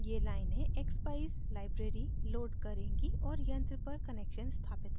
ये लाइनें expeyes library load करेंगी और यंत्र पर connection स्थापित करेंगी